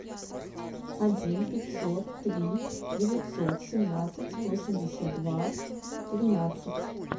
один пятьсот три девятьсот семнадцать восемьдесят два тринадцать